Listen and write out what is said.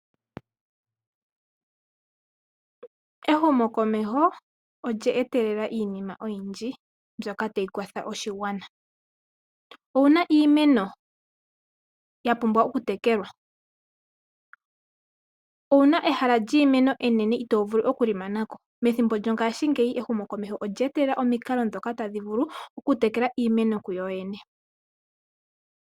Ehumo komeho olya etelela iinima oyindji mbyoka tayi kwatha oshigwana. Owuna iimeno ya pumbwa oku tekelwa? Owuna ehala lyiimeno enene itoo vulu oku li mana ko? Methimbo lyongaashingeyi ehumo komeho olya etelela omikalo ndhoka tadhi vulu tekela iimeno kuyo yene.